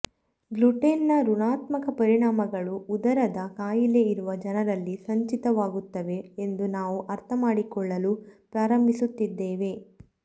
gluten ನ ಋಣಾತ್ಮಕ ಪರಿಣಾಮಗಳು ಉದರದ ಕಾಯಿಲೆ ಇರುವ ಜನರಲ್ಲಿ ಸಂಚಿತವಾಗುತ್ತವೆ ಎಂದು ನಾವು ಅರ್ಥಮಾಡಿಕೊಳ್ಳಲು ಪ್ರಾರಂಭಿಸುತ್ತಿದ್ದೇವೆ